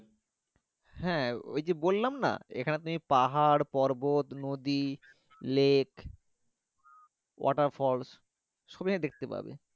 হ্যাঁ ওই যে বললাম না পাহাড়, পর্বত, নদি, লেক, water falls সব এ এখানে দেখতেপাবে।